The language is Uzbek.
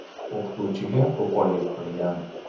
o‘qituvchiga qo‘pollik qilgan.